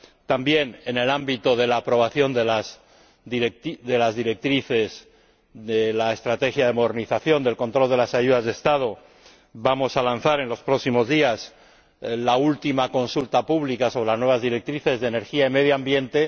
También en el ámbito de la aprobación de las directrices de la estrategia de modernización del control de las ayudas de Estado vamos a lanzar en los próximos días la última consulta pública sobre las nuevas directrices de energía y medio ambiente.